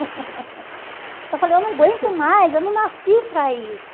Eu falei, eu não aguento mais, eu não nasci para isso.